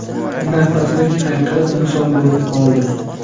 nafaslik hayqiriq misol bo‘lib qoldi.